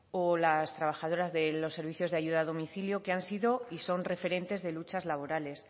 o las trabajadoras de los servicios de ayuda a domicilio que han sido y son referentes de luchas laborales